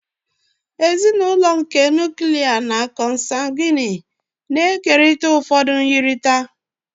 Ezinụlọ nke Nuklia na consanguini na-ekerịta ụfọdụ myirịta.